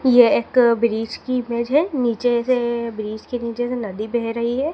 ये एक ब्रिज की इमेज है नीचे से ब्रिज के नीचे से नदी बह रही है।